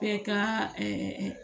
Bɛɛ ka